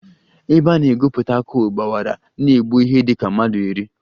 Ebe a na-egwupụta coal gbawara na-egbu ihe dị ka mmadụ iri